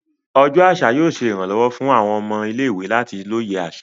Ọjọ aṣa yóò ṣe iranlọwọ fun awọn ọmọ ile-iwe lati loye aṣa.